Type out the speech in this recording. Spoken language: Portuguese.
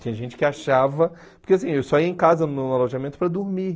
Tinha gente que achava... Porque assim eu só ia em casa, no alojamento, para dormir.